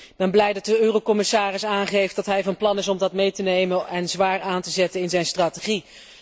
Ik ben blij dat de eurocommissaris aangeeft dat hij van plan is om dit in aanmerking te nemen en zwaar aan te zetten in zijn strategie.